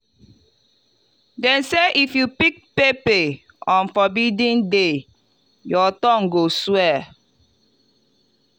them say if you pick pepper on forbidden day your tongue go swell.